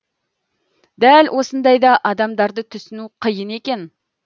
дәл осындайда адамдарды түсіну қиын екен